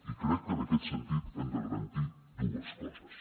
i crec que en aquest sentit hem de garantir dues coses